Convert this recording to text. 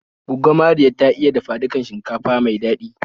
Gwaggo Mariya ta iya dafa dukan shinkafa mai daɗi